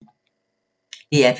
DR P3